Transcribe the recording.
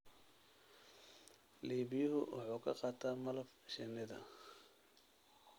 Iibiyuhu wuxuu ka qaataa malab shinnida.